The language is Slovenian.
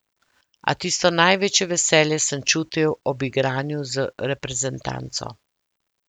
A tisto največje veselje sem čutil ob igranju z reprezentanco.